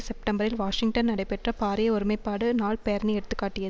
செப்டம்பரில் வாஷிங்டன் நடைபெற்ற பாரிய ஒருமை பாடு நாள் பேரணி எடுத்துக்காட்டிய